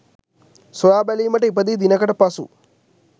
සොයා බැලීමට ඉපදී දිනකට පසු